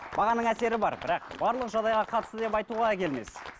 бағаның әсері бар бірақ барлық жағдайға қарсы деп айтуға келмес